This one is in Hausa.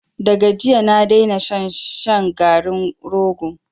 Da ga jiya na daina shan shan garin rogo.